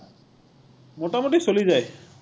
মোটামুটি চলি যায়।